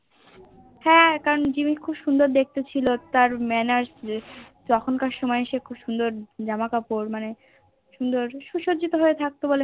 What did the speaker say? হ্যান কারণ জিম্মি খুব সুন্দর দেখতে ছিল তার Manners সে তখন কার সময় সে খুব খুব সুন্দর জামা কাপড় মানে সু সজ্জিত হয়ে থাকত